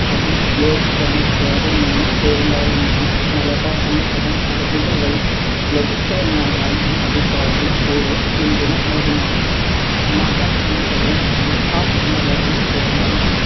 അതു ലോപിച്ചാണ് കേരളം എന്ന പേരുണ്ടായതെന്നാണ് മലബാർ എന്ന പദം അറബികൾ വഴി ലഭിച്ചതാണെന്നതാണ്‌, ഈ അഭിപ്രായത്തിനു കൂടുതൽ പിന്തുണ നല്കുന്നത് എന്ന പദവും എന്ന പദവും ചേർന്നാണ്